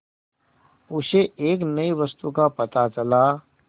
उसे एक नई वस्तु का पता चला